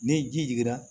Ni ji jiginna